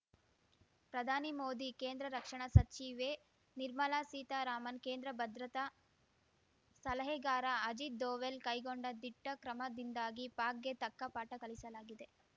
ಪ್ರಧಾನಿ ಮೋದಿ ಕೇಂದ್ರ ರಕ್ಷಣಾ ಸಚಿವೆ ನಿರ್ಮಲಾ ಸೀತಾರಾಮನ್‌ ಕೇಂದ್ರ ಭದ್ರತಾ ಸಲಹೆಗಾರ ಅಜಿತ್‌ ದೋವಲ್‌ ಕೈಗೊಂಡ ದಿಟ್ಟಕ್ರಮದಿಂದಾಗಿ ಪಾಕ್‌ಗೆ ತಕ್ಕ ಪಾಠ ಕಲಿಸಲಾಗಿದೆ